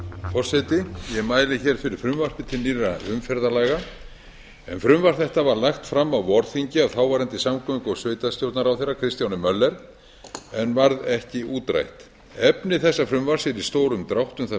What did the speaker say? forseti ég mæli hér fyrir frumvarpi til nýrra umferðarlaga frumvarp þetta var lagt fram á vorþingi af þáverandi samgöngu og sveitarstjórnarráðherra kristjáni möller en varð ekki útrætt efni þessa frumvarps er í stórum dráttum það